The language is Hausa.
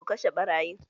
Ku kashe ɓarayin!